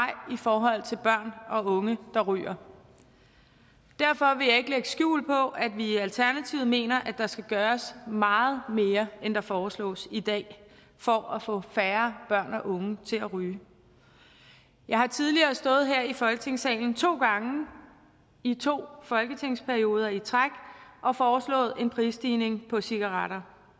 i forhold til børn og unge der ryger derfor vil jeg ikke lægge skjul på at vi i alternativet mener at der skal gøres meget mere end der foreslås i dag for at få færre børn og unge til at ryge jeg har tidligere stået her i folketingssalen to gange i to folketingsperioder i træk og foreslået en prisstigning på cigaretter